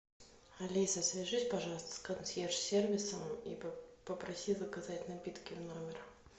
алиса свяжись пожалуйста с консьерж сервисом и попроси заказать напитки в номер